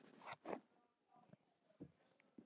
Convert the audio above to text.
Mest á rósum.